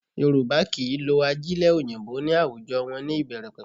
Yorùbá kì í lo ajílẹ̀ òyìnbó ní àwùjọ wọn ní ìbẹ̀rẹ̀pẹ̀pẹ̀